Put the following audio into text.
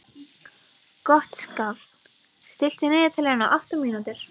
Gottskálk, stilltu niðurteljara á átta mínútur.